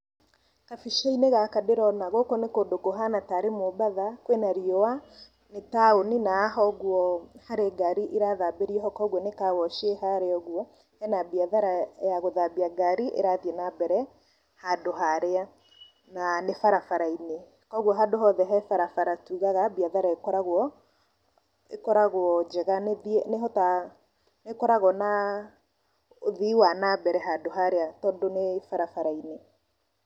Gabica-inĩ gaka ndĩrona gũkũ nĩ kũndũ kũhana tarĩ mombatha, kwĩna riũa, nĩ taũni na haha ũgwo nĩ harĩ ngari ĩrathambĩrio hau kũgwo nĩ carwash ĩ harĩa ũgwo, hena biathara ya gũthambia ngari ĩrathiĩ na mbere handũ harĩa , na nĩ barabara-inĩ, kũgwo handũ hothe he barabara tugaga biathara ĩkoragwo njega , nĩ ĩhotaga nĩ ĩkoragwo na ũthii wa na mbere handũ harĩa tondũ nĩ barabara-inĩ.